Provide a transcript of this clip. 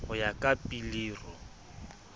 ho ya ka pilir o